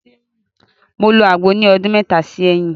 Mo lo agbo ni ọdún mẹta sí ẹyin.